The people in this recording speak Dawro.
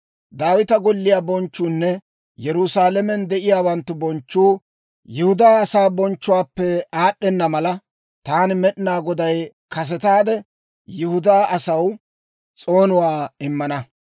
«Daawita golliyaa bonchchuunne Yerusaalamen de'iyaawanttu bonchchuu Yihudaa asaa bonchchuwaappe aad'd'enna mala, taani Med'inaa Goday kasetaade Yihudaa asaw s'oonuwaa immana.